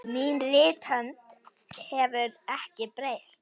Mín rithönd hefur ekki breyst.